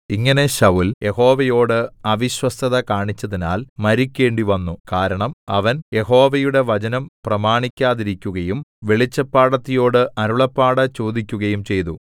ഇങ്ങനെ ശൌല്‍ യഹോവയോടു അവിശ്വസ്തത കാണിച്ചതിനാൽ മരിക്കേണ്ടിവന്നു കാരണം അവൻ യഹോവയുടെ വചനം പ്രമാണിക്കാതിരിക്കുകയും വെളിച്ചപ്പാടത്തിയോടു അരുളപ്പാട് ചോദിക്കുകയും ചെയ്തു